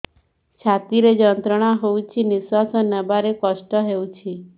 ଛାତି ରେ ଯନ୍ତ୍ରଣା ହଉଛି ନିଶ୍ୱାସ ନେବାରେ କଷ୍ଟ ହଉଛି